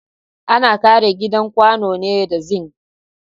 Ana ƙera gidan kwano ne da zing